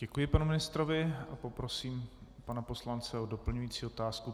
Děkuji panu ministrovi a poprosím pana poslance o doplňující otázku.